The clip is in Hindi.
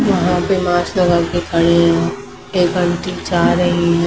यहां पे मास्क लगा के खड़े हैं टेबल तीन चार हैं ये।